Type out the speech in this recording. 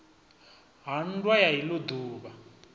ha nndwa ya ilo duvha